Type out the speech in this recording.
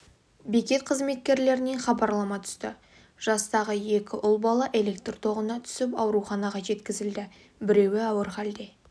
бекет қызметкерлерінен хабарлама түсті жастағы екі ұл бала электр тоғына түсіп ауруханаға жеткізілді біреуі ауыр халде